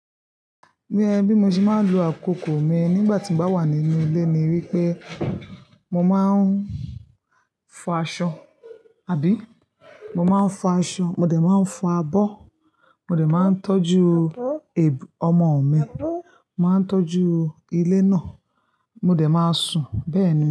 Bí mo ṣe máa lu àkókò mi nígbà tí mo bá wà nínú ilé ni wípé mo máa ń fọ aṣọ, àbí? Mo máa ń fọ aṣọ, mo dẹ̀ máa ń fọ abọ́, mo dẹ̀ máa ń tọ́jú ẹbu-- ọmọ mi, màá ń tọ́jú ilé náà, mo dẹ̀ máa sùn bẹ́ẹ̀ ni.